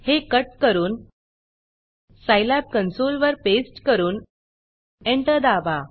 हे कट करून Scilab console वर पेस्ट करून एंटर दाबा